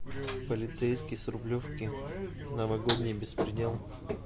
полицейский с рублевки новогодний беспредел